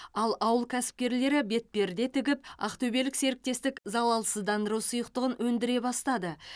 ал ауыл кәсіпкерлері бетперде тігіп ақтөбелік серіктестік залалсыздандыру сұйықтығын өндіре бастады